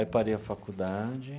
Aí parei a faculdade.